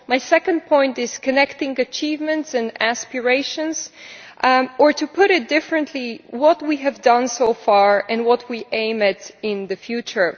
My second point is about connecting achievements and aspirations or, to put it differently, what we have done so far and what we aim at in the future.